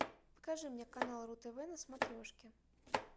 покажи мне канал ру тв на смотрешке